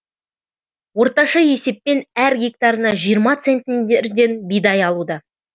орташа есеппен әр гектарына жиырма центнерден бидай алуда